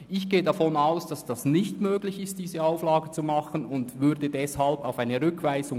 Ich gehe davon aus, dass es nicht möglich ist, diese Auflage zu machen und plädiere deswegen für eine Rückweisung.